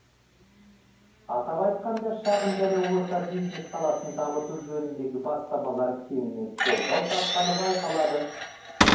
атап айтқанда шағын және орта бизнес саласын дамыту жөніндегі бастамалар кеңінен қолдау тапқаны байқалады